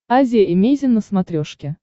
азия эмейзин на смотрешке